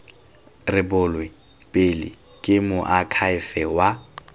rebolwe pele ke moakhaefe wa